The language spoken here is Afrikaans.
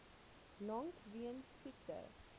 lank weens siekte